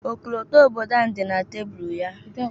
Ọkọlọtọ obodo anyị dị na tabulu ya.